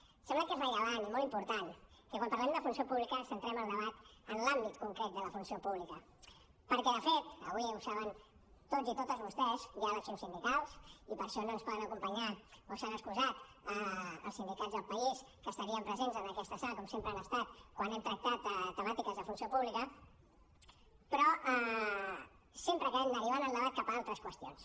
em sembla que és rellevant i molt important que quan parlem de funció pública centrem el debat en l’àmbit concret de la funció pública perquè de fet avui ho saben tots i totes vostès hi ha eleccions sindicals i per això no ens poden acompanyar o s’han excusat els sindicats del país que estarien presents en aquesta sala com sempre han estat quan hem tractat temàtiques de funció pública però sempre acabem derivant el debat cap a altres qüestions